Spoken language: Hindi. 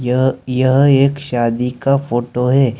यह यह एक शादी का फोटो है।